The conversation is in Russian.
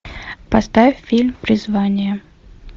поставь фильм призвание